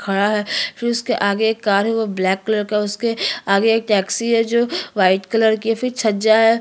ये खड़ा है फिर उसके आगे एक कार है वो ब्लैक कलर का है उसके आगे एक टेक्सी है जो वाइट कलर की है फिर छज्जा है।